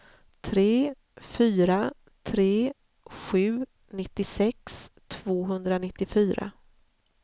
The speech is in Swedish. tre fyra tre sju nittiosex tvåhundranittiofyra